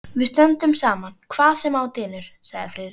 Við stöndum saman hvað sem á dynur sagði Friðrik.